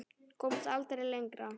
Komst aldrei lengra.